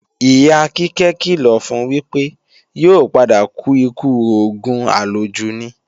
Ìyá Kíkẹ́ kìlọ̀ fun wípé, yóò padà kú ikú òògùn àlòjù ni